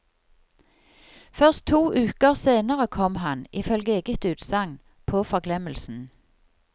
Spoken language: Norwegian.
Først to uker senere kom han, ifølge eget utsagn, på forglemmelsen.